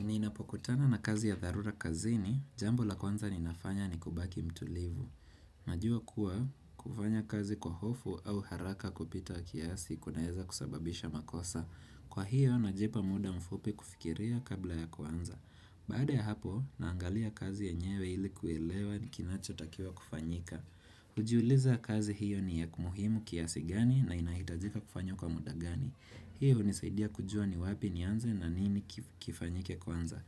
Ninapokutana na kazi ya dharura kazini, jambo la kwanza ninafanya ni kubaki mtulivu. Najua kuwa, kufanya kazi kwa hofu au haraka kupita kiasi kunaeza kusababisha makosa. Kwa hiyo, najIpa muda mfupi kufikiria kabla ya kuanza. Baada ya hapo, naangalia kazi yenyewe ili kuelewa ni kinachotakiwa kufanyika. Hujiuliza kazi hiyo ni ya muhimu kiasi gani na inahitajika kufanywa kwa muda gani. Hii hunisaidia kujua ni wapi nianze na nini kifanyike kwanza.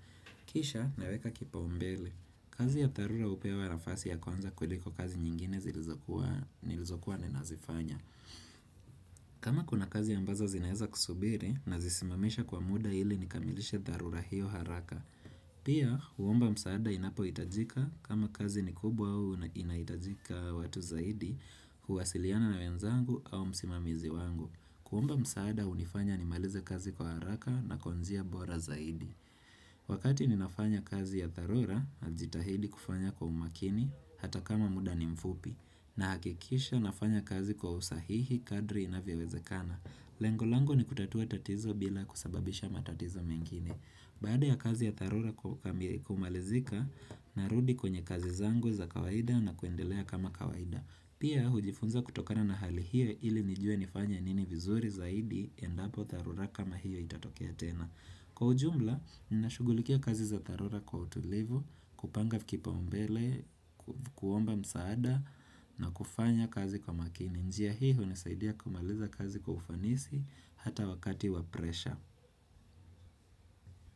Kisha naweka kipaumbele. Kazi ya dharura hupewa nafasi ya kwanza kuliko kazi nyingine zilizokuwa ninazifanya. Kama kuna kazi ambazo zinaeza kusubiri, nazisimamisha kwa muda ili nikamilishe dharura hiyo haraka. Pia, huomba msaada inapohitajika kama kazi ni kubwa au inahitajika watu zaidi, huwasiliana na wenzangu au msimamizi wangu. Kuomba msaada hunifanya nimaliza kazi kwa haraka na kwa njia bora zaidi. Wakati ninafanya kazi ya dharora, najitahidi kufanya kwa umakini, hata kama muda ni mfupi. Nahakikisha nafanya kazi kwa usahihi kadri inavyowezekana. Lengo lango ni kutatua tatizo bila kusababisha matatizo mengine. Baada ya kazi ya dharura kumalizika, narudi kwenye kazi zangu za kawaida na kuendelea kama kawaida. Pia hujifunza kutokana na hali hiyo ili nijue nifanya nini vizuri zaidi endapo dharura kama hiyo itatokea tena. Kwa ujumla, ninashugulikia kazi za dharura kwa utulivu, kupanga kipaumbele, kuomba msaada na kufanya kazi kwa makini. Njia hii hunisaidia kumaliza kazi kwa ufanisi hata wakati wa presha.